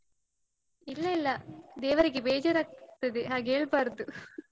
ಇಲ್ಲ ಇಲ್ಲ, ದೇವರಿಗೆ ಬೇಜಾರಾಗ್ತದೆ ಹಾಗೆ ಹೇಳ್ಬಾರ್ದು.